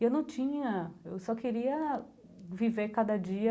E eu não tinha, eu só queria viver cada dia